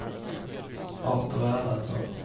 Artur Erlandsson